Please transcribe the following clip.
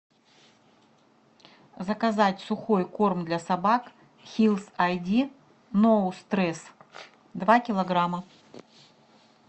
заказать сухой корм для собак хиллс ай ди ноу стресс два килограмма